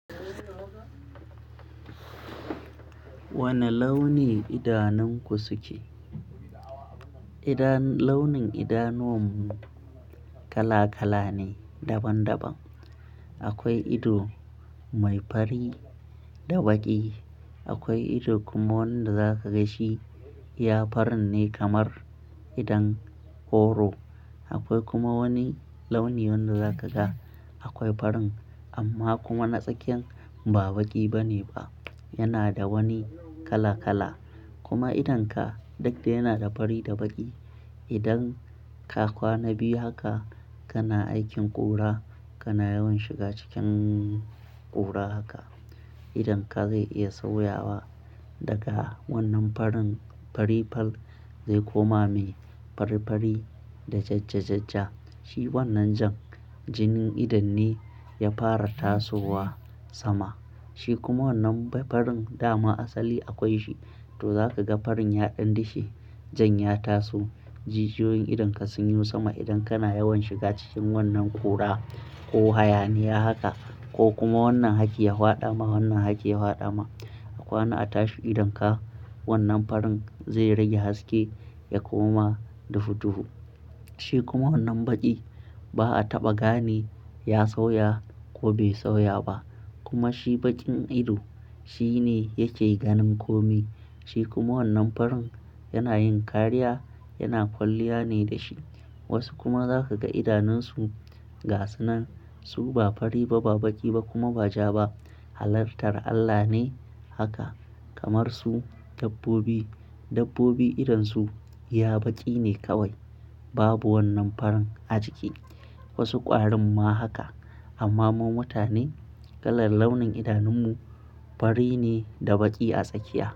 Wane launi idanunku suke? Idanu launin idanuwanmu kala-kala ne, daban-daban. Akwai ido mai fari da baƙi. Akwai ido kuma wanda za ka ga shi iya farin ne kamar idon horo. Akwai kuma wani launi wanda za ka ga akwai farin amma kuma na tsakiyan ba baƙi bane ba, yana da wani kala-kala. Kuma idonka duk da yana da fari da baƙi, idan ka kwana biyu haka kana aikin ƙura, kana yawan shiga cikin ƙura haka, idonka zai iya sauyawa daga wannan farin farifal zai koma me farifari da jajjajajja. Shi wannan jan jinin idon ne ya fara tasowa sama. Shi kuma wannan farin dama asali akwai shi, to za ka ga farin yaɗin dishe jan ya taso. Jijiyoyin idonka sun yi sama idan kana yawan shiga cikin wannan ƙura ko hayaniya haka ko kuma wannan hakki ya faɗa ma, wannan haka ya faɗa ma. A kwana a tashi idonka wannan farin zai rage haske ya koma dufuduhu. Shi kuma wannan baƙi ba a taɓa gane ya sauya ko bai sauya ba. Kuma shi baƙin ido shi ne yake ganin kome. Shi kuma wannan farin yana yin kariya, yana kwalliya ne da shi. Wasu kuma za ka ga idanunsu ga sunan su ba fari ba, ba baƙi ba kuma ba ja ba. Halartar Allah ne haka, kamar su dabbobi. Dabbobi idonsu iya baƙi ne kawai babu wannan farin a ciki. Wasu ƙwarin ma haka. Amma mu mutane kalar launin idanunmu fari ne da baƙi a tsakiya.